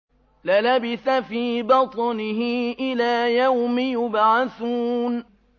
لَلَبِثَ فِي بَطْنِهِ إِلَىٰ يَوْمِ يُبْعَثُونَ